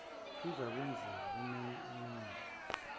kuzakwenziwa kumeya umeya